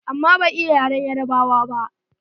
Amma bai iya yaren Yarabawa ba.